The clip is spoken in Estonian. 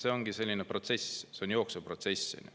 See ongi selline protsess, see on jooksev protsess.